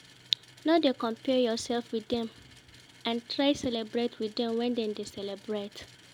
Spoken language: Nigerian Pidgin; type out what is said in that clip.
No de compare yourself with dem and try celebrate with dem when dem de celebrate